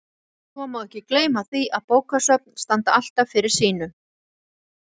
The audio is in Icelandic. Svo má ekki gleyma því að bókasöfn standa alltaf fyrir sínu.